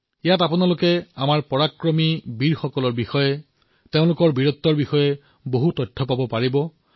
তাত আপোনালোকে আমাৰ বীৰ পৰাক্ৰমী যোদ্ধাসকলৰ বিষয়ে তেওঁলোকৰ পৰাক্ৰমৰ বিষয়ে বহু তথ্য লাভ কৰিব